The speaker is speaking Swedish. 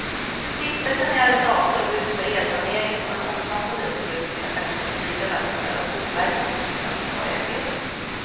Stiftelsen är arrendator och utför elsaneringen och en omfattande upprustning av västra flyglarna med stöd av boverket och riksantikvarieämbetet.